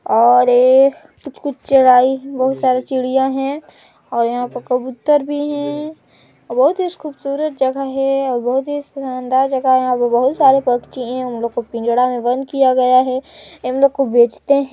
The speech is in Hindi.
और ये कुछ-कुछ बहुत सारी चिड़िया है और यहाँ पर कबूतर भी है अउ बहुत ही खुबसूरत जगह हैअउ बहुत ही शानदार जगह है यहाँ पे बहुत सारे पक्षी हैउन लोग को पिंजड़ा में बंद किया गया हैं इन लोग को बेचते हैं।